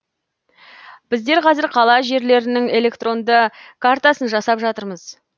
біздер қазір қала жерлерінің электронды картасын жасап жатырмыз